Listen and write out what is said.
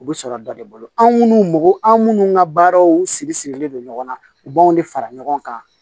U bɛ sɔrɔ dɔ de bolo anu mɔgɔ an minnu ka baaraw siri sirilen don ɲɔgɔn na u b'anw de fara ɲɔgɔn kan